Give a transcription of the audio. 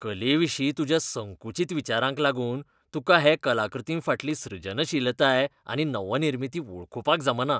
कलेविशीं तुज्या संकुचित विचारांक लागून तुकां हे कलाकृतींफाटली सृजनशीलताय आनी नवनिर्मिती वळखुपाक जमना.